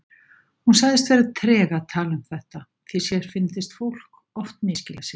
Hún sagðist vera treg að tala um þetta því sér fyndist fólk oft misskilja sig.